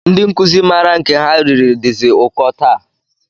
Ndị nkụzi maara nke ha riri dịzi ụkọ taa